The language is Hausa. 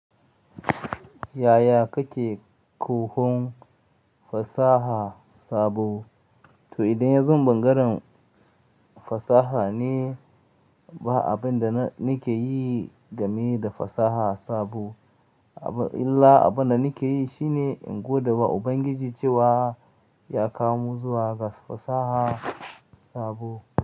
Yaya kake koyon fasaha sabo? To idan ya zo bangaren fasaha ne, ba abin da nake yi game da fasaha sabo. Illa abin da nake yi shine in godewa Ubangiji cewa ya kawo mu zuwa ga fasaha sabo.